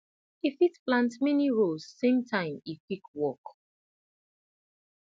e fit plant many rows same time e quick work